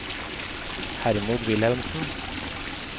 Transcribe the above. Hermod Wilhelmsen